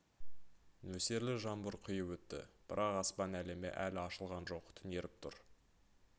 нөсерлі жаңбыр құйып өтті бірақ аспан әлемі әлі ашылған жоқ түнеріп тұр